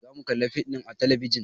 Za mu kalla fim a talabijin